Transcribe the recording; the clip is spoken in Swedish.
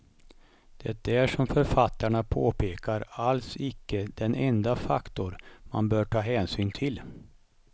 Det är som författarna påpekar alls icke den enda faktor man bör ta hänsyn till.